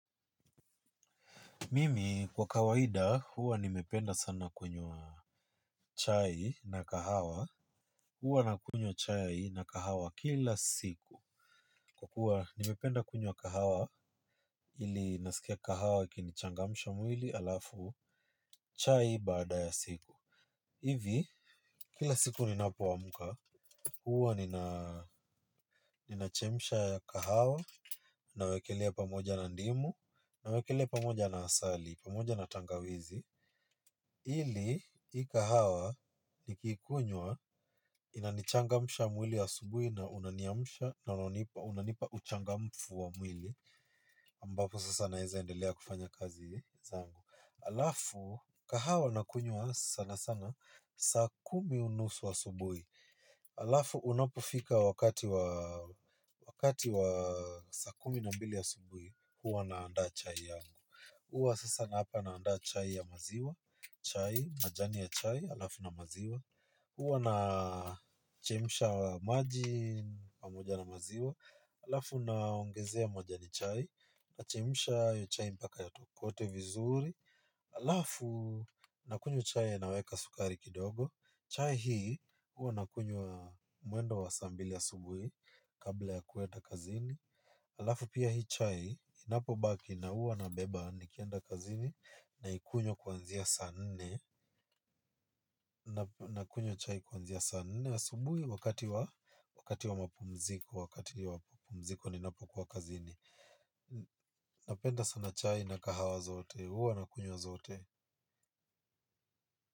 Mimi kwa kawaida huwa nimependa sana kunywa chai na kahawa. Huwa na kunywa chai na kahawa kila siku. Kwa kuwa nimependa kunywa kahawa ili nasikia kahawa ikinichangamsha mwili alafu chai baada ya siku hivi kila siku ninapo amka. Huwa nina nina chemsha kahawa na wekelea pamoja na ndimu na wekelea pamoja na asali pamoja na tangawizi. Ili, hii kahawa ni kikunywa inanichangamusha mwili asubuhi na unaniamsha na unanipa uchangamfu wa mwili ambapo sasa naweza endelea kufanya kazi zangu. Alafu, kahawa nakunywa sana sana, saa kumi unusu asubuhi alafu unapofika wakati wa wakati wa saa kumi na mbili asubuhi huwa naanda chai yangu huwa sasa labda naanda chai ya maziwa chai majani ya chai alafu na maziwa huwa na chemsha maji, pamoja na maziwa. Alafu naongezea majani chai, na chemsha hio chai mpaka ya tokote vizuri. Alafu na kunywa chai na naweka sukari kidogo. Chai hii, huwa na kunywa mwendo wa saa mbili asubuhi, kabla ya kuenda kazini. Alafu pia hii chai, inapo baki na huwa na beba nikienda kazini na ikunywa kwanzia saa nne. Nakunywa chai kwanzia saa nne asubuhi wakati wa mapumziko, wakati wa mapumziko ninapo kuwa kazini. Napenda sana chai na kahawa zote, huwa nakunywa zote.